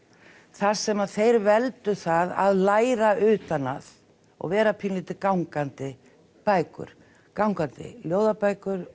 þar sem þeir veldu það að læra utan að og vera pínulítið gangandi bækur gangandi ljóðabækur